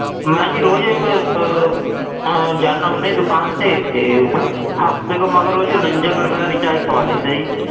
ਮੈਂ ਜੀ ਰੋਜ਼ ਇੱਕ ਅਹ ਆਹ ਜਾਨਾ ਹੁਨਾ ਜੀ ਦੁਕਾਨ ਤੇ, ਤੇ ਹਫ਼ਤੇ ਕੁ ਮਗਰੋਂ ਜੀ ਉਣੰਜਾ ਕੁ ਰੁਪਏ ਦਾ recharge ਕਰਵਾ ਲਈ ਦਾ ਜੀ।